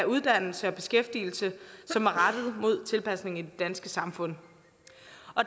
uddannelse og beskæftigelse som er rettet mod tilpasning til det danske samfund